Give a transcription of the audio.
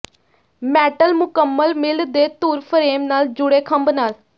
metal ਮੁਕੰਮਲ mill ਦੇ ਧੁਰ ਫਰੇਮ ਨਾਲ ਜੁੜੇ ਖੰਭ ਨਾਲ